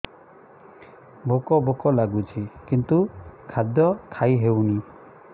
ଭୋକ ଭୋକ ଲାଗୁଛି କିନ୍ତୁ ଖାଦ୍ୟ ଖାଇ ହେଉନି